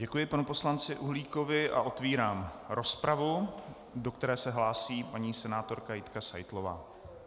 Děkuji panu poslanci Uhlíkovi a otevírám rozpravu, do které se hlásí paní senátorka Jitka Seitlová.